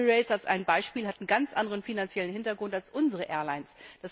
Emirates zum Beispiel hat einen ganz anderen finanziellen Hintergrund als unsere Airlines.